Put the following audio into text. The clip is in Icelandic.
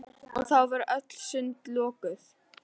Og þá voru öll sund lokuð!